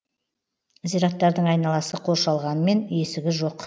зираттардың айналасы қоршалғанмен есігі жоқ